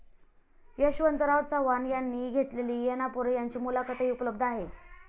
यशवंतराव चव्हाण यांनी घेतलेली ऐनापुरे यांची मुलाखतही उपलब्ध आहे.